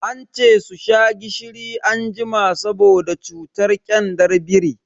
Ance su sha gishiri anjima saboda cutar kyandar biri.